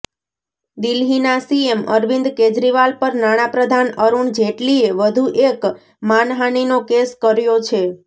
દિલ્હીના સીએમ અરવિંદ કેજરીવાલ પર નાણાંપ્રધાન અરુણ જેટલીએ વધુ એક માનહાનિનો કેસ કર્યો છે